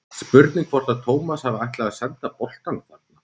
Spurning hvort að Tómas hafi ætlað að senda boltann þarna?